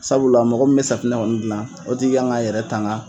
Sabula mɔgɔ min safinɛ kɔni dilan o tigi kan k'a yɛrɛ tanga,